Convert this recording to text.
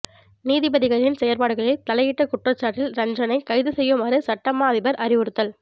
நீதிபதிகளின் செயற்பாடுகளில் தலையிட்ட குற்றச்சாட்டில் ரஞ்சனை கைது செய்யுமாறு சட்ட மா அதிபர் அறிவுறுத்தல்